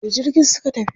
A wani jirgin suka tafi?